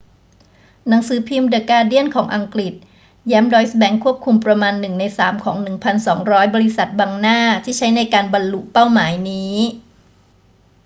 หนังสือพิมพ์เดอะการ์เดียนของอังกฤษแย้มดอยซ์แบงก์ควบคุมประมาณหนึ่งในสามของ 1200 บริษัทบังหน้าที่ใช้ในการบรรลุเป้าหมายนี้